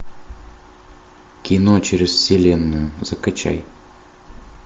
кино через вселенную закачай